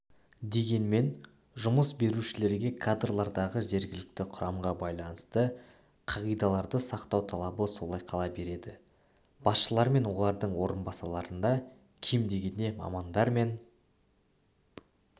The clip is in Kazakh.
дегенмен жұмыс берушілерге кадрлардағы жергілікті құрамға байланысты қағидаларды сақтау талабы солай қала береді басшылар мен олардың орынбасарларында кем дегенде мамандар мен